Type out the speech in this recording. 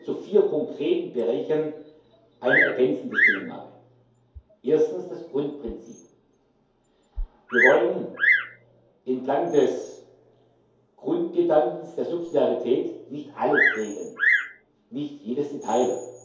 Gestatten Sie mir zu vier konkreten Bereichen eine ergänzende Stellungnahme. Erstens das Grundprinzip Wir wollen entlang des Grundgedankens der Subsidiarität nicht alles regeln, nicht jedes Detail.